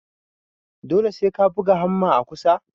Dole sai ka buga hamma a ƙusa?